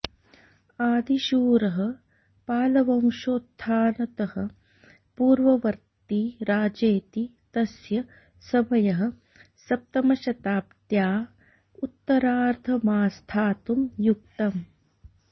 आदिशूरः पालवंशोत्थानतः पूर्ववर्त्ती राजेति तस्य समयः सप्तमशताब्द्या उत्तरार्धमास्थातुं युक्तम्